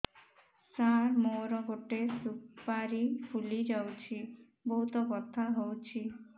ସାର ମୋର ଗୋଟେ ସୁପାରୀ ଫୁଲିଯାଇଛି ବହୁତ ବଥା ହଉଛି